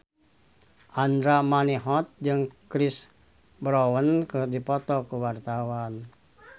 Andra Manihot jeung Chris Brown keur dipoto ku wartawan